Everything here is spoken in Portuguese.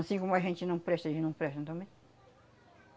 Anssim como a gente não presta, eles não prestam também.